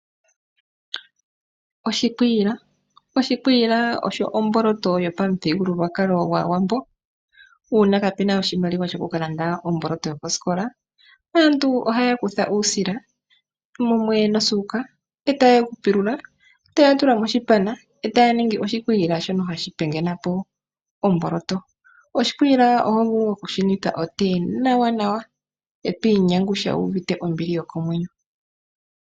Oshikwiila. Oshikwiila osho omboloto yopamuthigululwakalo gwAawambo, uuna kapuna oshimaliwa sho kukalanda omboloto yokosikola, aantu ohaya kutha uusila, mumwe nosuuka, etaya pilula, nokutula moshipana, etaya ningi oshikwiila shono hashi pingathana po omboloto. Oshikwiila ohov ulu okushi nwitha otee nawanawa eto inyangusha wu uvite ombili yokomwenyo.